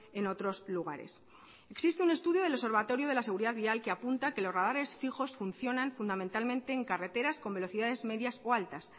en otros lugares existe un estudio del observatorio de la seguridad vial que apunta que los radares fijos funcionan fundamentalmente en carreteras con velocidades medias o altas